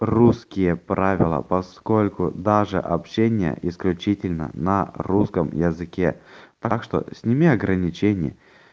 русские правила поскольку даже общения исключительно на русском языке так что сними ограничения